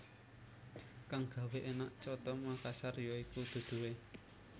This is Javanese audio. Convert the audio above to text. Kang gawé énak coto Makassar ya iku duduhé